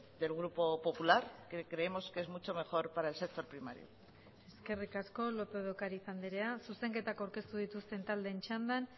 del grupo popular que creemos que es mucho mejor para el sector primario eskerrik asko lópez de ocariz andrea zuzenketak aurkeztu dituzten taldeen txandan